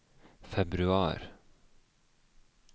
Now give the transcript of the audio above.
februar